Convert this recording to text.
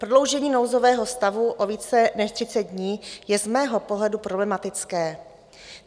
Prodloužení nouzového stavu o více než 30 dní je z mého pohledu problematické.